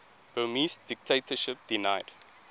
burmese dictatorship denied